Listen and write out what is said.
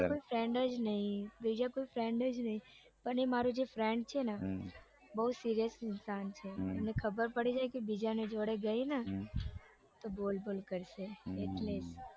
બીજો કોઈ friend જ નઈ બીજો કોઈ friend જ નઈ પણ એ મારો જે friend છે ને બઉ serious ઇન્સાન છે એને ખબર પડી જાય ને કે બીજાની જોડે જઈ તો બોલ બોલ કરશે એટલે